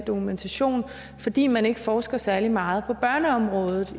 dokumentation fordi man ikke forsker særlig meget på børneområdet